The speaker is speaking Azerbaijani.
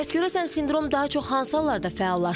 Bəs görəsən sindrom daha çox hansı hallarda fəallaşır?